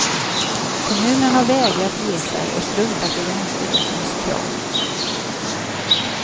Kommunen har vägrat ge sig och struntat i länsstyrelsens krav.